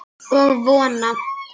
Og vona.